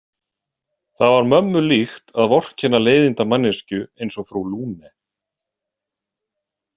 Það var mömmu líkt að vorkenna leiðindamanneskju eins og frú Lune.